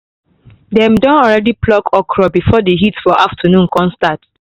dem don already pluck okra before the heat for afternoon con start